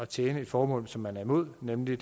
tjene et formål som man er imod nemlig